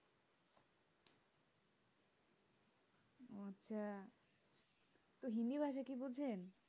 আচ্ছা, তো হিন্দি ভাষা কি বুঝেন?